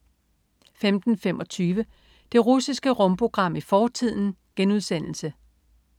15.25 Det russiske rumprogram i fortiden*